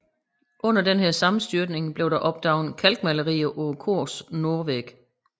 Under denne sammenstyrtning blev der opdaget kalkmalerier på korets nordvæg